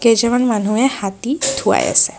কেইজনমান মানুহে হাতী ধুৱাই আছে।